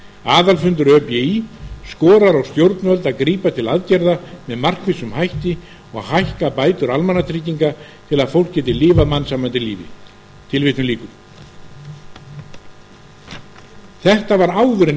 aðalfundur öbí skorar á stjórnvöld að grípa til aðgerða með markvissum hætti og hækka bætur almannatrygginga til að fólk geti lifað mannsæmandi lífi tilvitnun lýkur þetta var áður en